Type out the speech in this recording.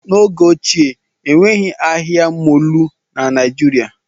N'oge ochie, enweghị ahịa mọọlụ na Naijiria